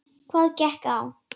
Hvað gekk á?